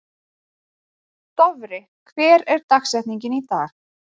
Dofri, hver er dagsetningin í dag?